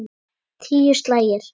Tíu slagir.